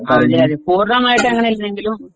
അതെ അതെ പൂർണ്ണമായിട്ട് അങ്ങിനെ ഇല്ലെങ്കിലും